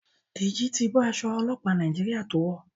Deji ti bó Aṣọ ọlọpa Nàìjíríà to wọ.